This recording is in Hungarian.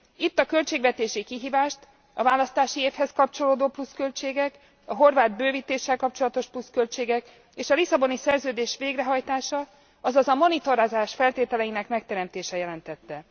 Itt a költségvetési kihívást a választási évhez kapcsolódó pluszköltségek, a horvát bővítéssel kapcsolatos pluszköltségek, és a Lisszaboni Szerződés végrehajtása, azaz a monitorozás feltételeinek megteremtése jelentette.